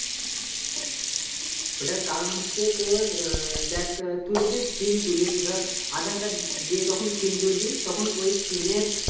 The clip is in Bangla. ওটার কারণ হচ্ছে তোর আহ ডেকে তুই যদি SIM তুলিস ধর Aadhar card দিয়ে যখন SIM তুলবি তখন ওই SIM এর